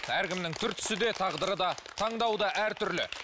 әркімнің түр түсі де тағдыры да таңдауы да әртүрлі